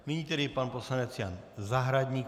Nyní tedy pan poslanec Jan Zahradník.